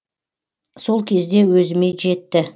сол кезде өзіме жетті